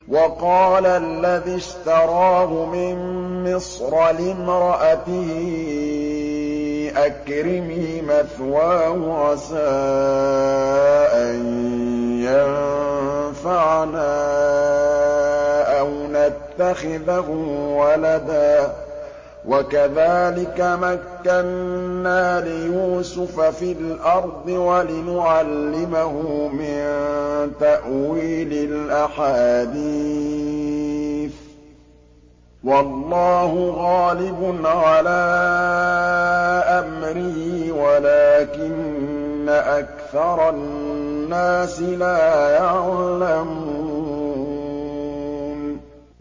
وَقَالَ الَّذِي اشْتَرَاهُ مِن مِّصْرَ لِامْرَأَتِهِ أَكْرِمِي مَثْوَاهُ عَسَىٰ أَن يَنفَعَنَا أَوْ نَتَّخِذَهُ وَلَدًا ۚ وَكَذَٰلِكَ مَكَّنَّا لِيُوسُفَ فِي الْأَرْضِ وَلِنُعَلِّمَهُ مِن تَأْوِيلِ الْأَحَادِيثِ ۚ وَاللَّهُ غَالِبٌ عَلَىٰ أَمْرِهِ وَلَٰكِنَّ أَكْثَرَ النَّاسِ لَا يَعْلَمُونَ